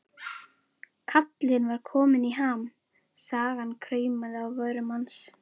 Kallinn var kominn í ham, sagan kraumaði á vörum hans.